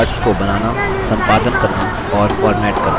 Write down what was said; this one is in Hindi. charts को बनाना संपादन करना और फॉर्मेट करना